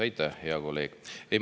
Aitäh, hea kolleeg!